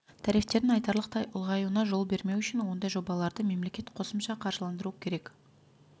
тарифтердің айтарлықтай ұлғаюына жол бермеу үшін ондай жобаларды мемлекет қосымша қаржыландыруы керек